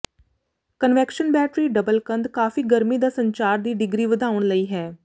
conviction battery double ਕੰਧ ਕਾਫ਼ੀ ਗਰਮੀ ਦਾ ਸੰਚਾਰ ਦੀ ਡਿਗਰੀ ਵਧਾਉਣ ਲਈ ਹੈ